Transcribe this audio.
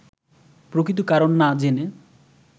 প্রকৃত কারণ না জেনে